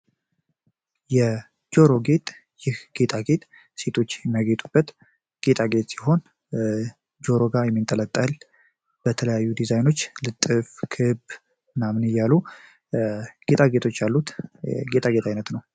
የጆሮ ጌጣጌጥ ሴቶች የሚያጌጡበት ጌጣጌጥ ሲሆን ጆሮ ላይ የሚንጠለጠል እና ውበታቸውን የሚያደምቅ ነው።